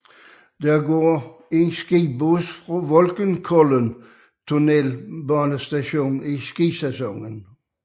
Der går skibus fra Voksenkollen tunnelbanestation i skisæsonen